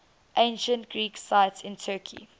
ancient greek sites in turkey